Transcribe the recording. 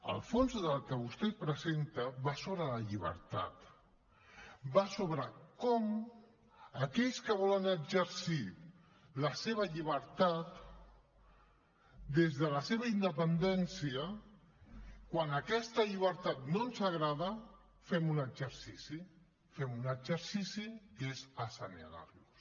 el fons del que vostès presenten va sobre la llibertat va sobre com aquells que volen exercir la seva llibertat des de la seva independència quan aquesta llibertat no ens agrada fem un exercici fem un exercici que és assenyalar los